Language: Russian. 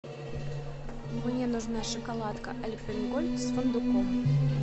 мне нужна шоколадка альпен гольд с фундуком